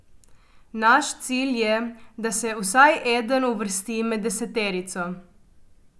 Naš cilj je, da se vsaj eden uvrsti med deseterico.